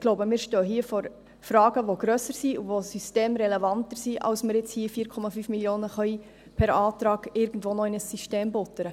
Ich denke, wir stehen hier vor Fragen, die grösser und systemrelevanter sind, als dass wir sie mit 4,5 Mio. Franken beantworten können.